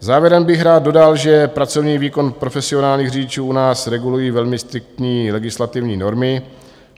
Závěrem bych rád dodal, že pracovní výkon profesionálních řidičů u nás regulují velmi striktní legislativní normy.